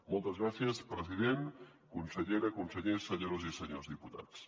moltes gràcies president consellera consellers senyores i senyors diputats